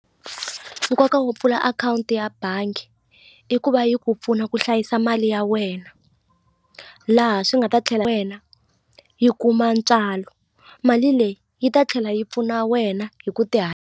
Nkoka wo pfula akhawunti ya bangi i ku va yi ku pfuna ku hlayisa mali ya wena laha swi nga ta tlhela wena yi kuma ntswalo mali leyi yi ta tlhela yi pfuna wena hi ku ti .